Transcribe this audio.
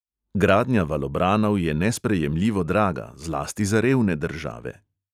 Gradnja valobranov je nesprejemljivo draga, zlasti za revne države.